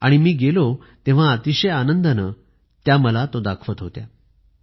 आणि मी गेलो तेव्हा अतिशय आनंदाने त्या मला दाखवत होत्या